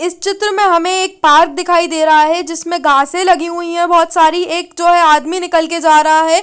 इस चित्र में हमे एक पार्क दिखाई दे रहा है जिसमे घासे लगी हुई है बहोत सारी एक जो है आदमी निकल के जा रहा है।